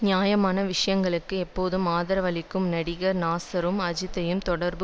நியாயமான விஷயங்களுக்கு எப்போதும் ஆதரவளிக்கும் நடிகர் நாசரும் அஜித்தை தொடர்பு